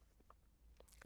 DR1